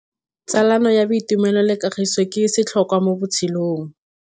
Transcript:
Tsalano ya boitumelo le kagiso ke setlhôkwa mo botshelong.